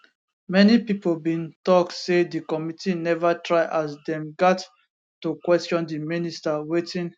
many pipo bin tok say di committee neva try as dem gat to question di minister wetin